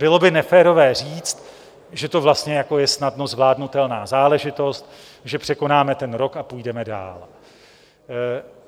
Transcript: Bylo by neférové říct, že to vlastně jako je snadno zvládnutelná záležitost, že překonáme ten rok a půjdeme dál.